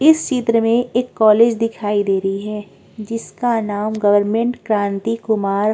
इस चित्र में एक कॉलेज दिखाई दे रही हैं जिसका नाम गवर्नमेंट क्रांति कुमार --